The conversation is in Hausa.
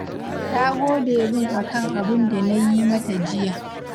Ta gode min a kan abun da na yi mata jiya